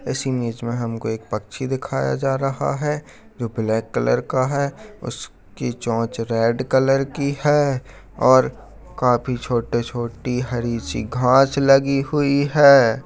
इस इमेज में हमको एक पक्षी दिखाया जा रहा है जो ब्लैक कलर का है उसकी चोंच रेड कलर की है और काफी छोटा छोटी हरी सी घास लगी हुई है।